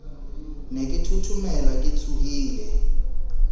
ne ke thothomela ke tshohile